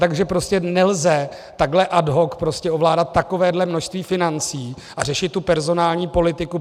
Takže prostě nelze takhle ad hoc ovládat takovéhle množství financí a řešit tu personální politiku.